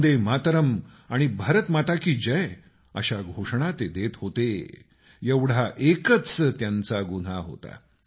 वंदे मातरम आणि भारत माता की जय अशा घोषणा ते देत होते एवढा एकच त्यांचा गुन्हा होता